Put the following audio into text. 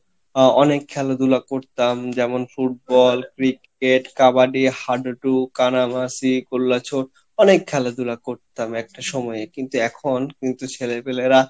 আহ অনেক খেলাধুলা করতাম যেমন Football Cricket কাবাডি হা ডু ডু, কানামাসি অনেক খেলা ঢুলা করতাম এক সময়ে কিন্তু এখন কিন্তু ছেলে পেলেরা